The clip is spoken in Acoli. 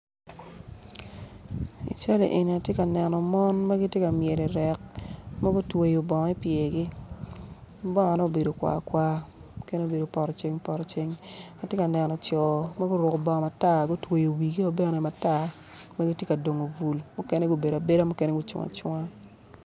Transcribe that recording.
I cali eni tye ka neno min ma gityenka myel i ryek mogo otweyo bongo i pyergi ma bongone obedo kwarkwar mukene obedo potoceng potoceng atye ka neno co ma guruku bongi matar ma guboyo wigio bene matar gitye ka dongo bul mukene gubedo abeda mukene gucung acunga